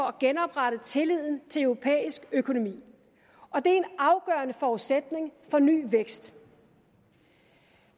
at genoprette tilliden til europæisk økonomi og det er en afgørende forudsætning for ny vækst